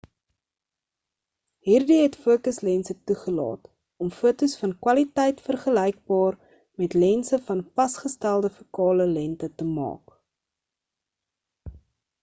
hierdie het fokus lense toegelaat om fotos van kwaliteit vergelykbaar met lense van vasgestelde fokale lengte te maak